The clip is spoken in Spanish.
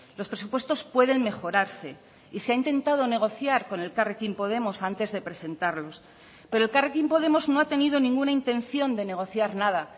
los presupuestos pueden mejorarse y se ha intentado negociar con elkarrekin podemos antes de presentarlos pero elkarrekin podemos no ha tenido ninguna intención de negociar nada